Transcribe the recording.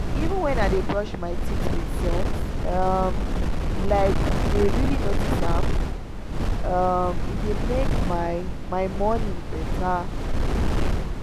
even when i dey brush my teeth with sense um like dey really notice am — um e dey make my my morning better.